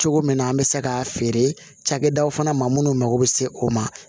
Cogo min na an bɛ se k'a feerew fana ma minnu mako bɛ se o ma